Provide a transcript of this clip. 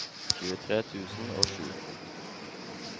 tjuetre tusen og sju